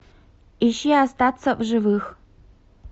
ищи остаться в живых